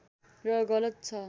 र गलत छ